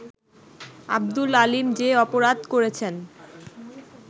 আব্দুল আলীম যে অপরাধ করেছেন